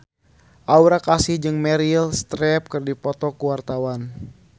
Aura Kasih jeung Meryl Streep keur dipoto ku wartawan